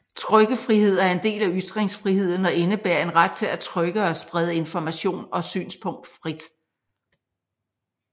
Trykkefrihed er en del af ytringsfriheden og indebærer en ret til at trykke og sprede information og synspunkt frit